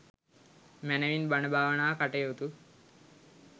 මැනවින් බණ භාවනා කටයුතු